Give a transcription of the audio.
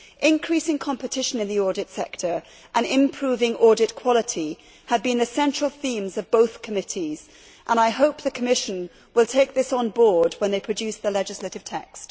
Increasing competition in the audit sector and improving audit quality had been the central themes of both committees, and I hope the Commission will take this on board when they produce the legislative text.